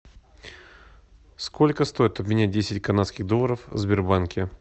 сколько стоит обменять десять канадских долларов в сбербанке